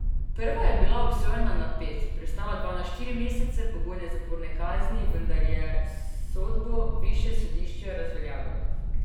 Prva je bila obsojena na pet, preostala dva na štiri mesece pogojne zaporne kazni, vendar je sodbo višje sodišče razveljavilo.